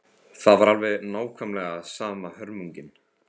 Það var alveg nákvæmlega sama hörmungin.